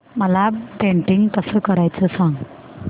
मला पेंटिंग कसं करायचं सांग